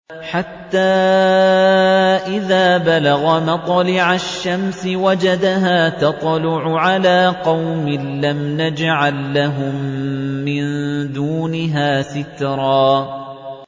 حَتَّىٰ إِذَا بَلَغَ مَطْلِعَ الشَّمْسِ وَجَدَهَا تَطْلُعُ عَلَىٰ قَوْمٍ لَّمْ نَجْعَل لَّهُم مِّن دُونِهَا سِتْرًا